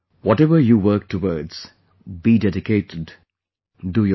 Whatever you work towards, be dedicated, do your best